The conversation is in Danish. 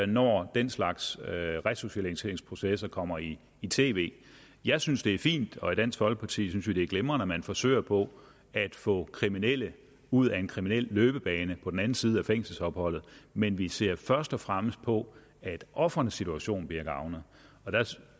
når den slags resocialiseringsprocesser kommer i i tv jeg synes det er fint og i dansk folkepartis synes vi det er glimrende at man forsøger på at få kriminelle ud af en kriminel løbebane på den anden side af fængselsopholdet men vi ser først og fremmest på at ofrenes situation bliver gavnet og der